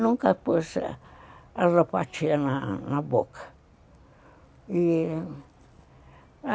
Nunca pus alopatia na na boca.